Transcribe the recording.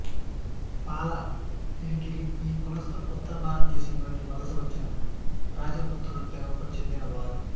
పాల ఏకిరి ఈ కులస్తులు ఉత్తర భారతదేశం నుండి వలస వచ్చిన రాజపుత్రుల తెగకు చెందిన వారు